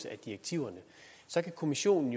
af direktiverne så kan kommissionen